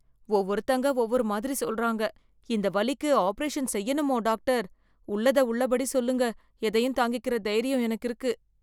ஒவ்வொருத்தங்க ஒவ்வொரு மாதிரி சொல்றாங்க... இந்த வலிக்கு ஆப்பரேஷன் செய்யணுமோ டாக்டர்? உள்ளத உள்ளபடி சொல்லுங்க. எதையும் தாங்கிக்கற தைர்யம் எனக்கிருக்கு